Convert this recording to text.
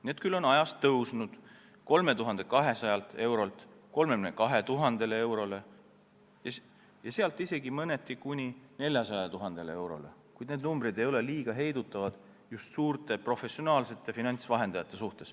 Need küll on aja jooksul kasvanud 3200 eurolt 32 000 eurole ja sealt isegi kuni 400 000 eurole, kuid need summad ei heiduta suuri, professionaalseid finantsvahendajaid.